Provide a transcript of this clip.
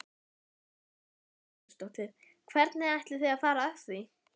Lillý Valgerður Pétursdóttir: Hvernig ætlið þið að fara að því?